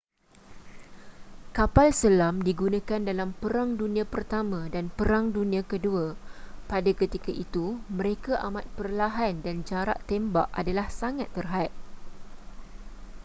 kapal selam digunakan dalam perang dunia i dan perang dunia ii pada ketika itu mereka amat perlahan dan jarak tembak adalah sangat terhad